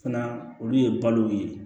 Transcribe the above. Fana olu ye balo ye